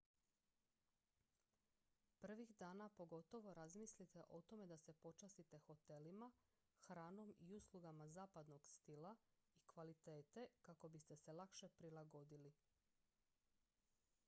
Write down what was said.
prvih dana pogotovo razmislite o tome da se počastite hotelima hranom i uslugama zapadnog stila i kvalitete kako biste se lakše prilagodili